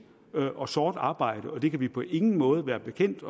og sort arbejde vi kan på ingen måde være bekendt